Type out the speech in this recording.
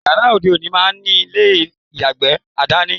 Yàrá òde òní máá ní ilé ìyàgbẹ̀ àdání